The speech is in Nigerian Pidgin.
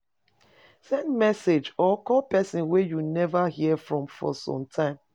Send message or call persin wey you never hear from for some time